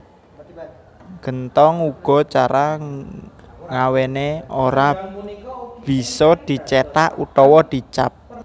Genthong uga cara ngawéné ora bisa dicéthak utawa di cap